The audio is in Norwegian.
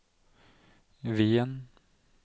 Wien